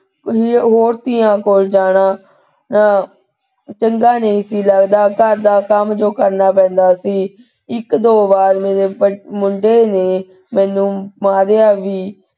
ਹੋਰ ਧੀਆਂ ਕੋਲ ਜਾਣਾ ਤਾਂ ਚੰਗਾ ਨਹੀ ਸੀ ਲਗਦਾ, ਘਰ ਦਾ ਕੰਮ ਜੋ ਕਰਨਾ ਪੈਂਦਾ ਸੀ ਇਕ ਦੋ ਵਾਰ ਮੇਰੇ ਮੁੰਡੇ ਨੇ ਮੈਨੂੰ ਮਾਰਿਆ ਵੀ।